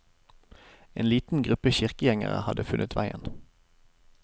En liten gruppe kirkegjengere hadde funnet veien.